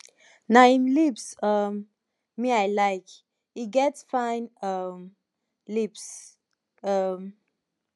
na im lips um me i like he get fine um lips um